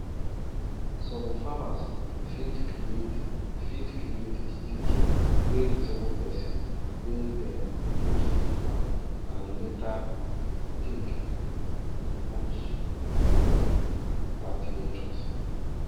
some farmers fit create fit create stick wey resemble person wey dem put for farm and later take put for party entrance